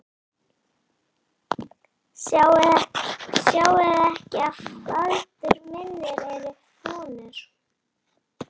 Sjáiði ekki að fætur mínir eru fúnir?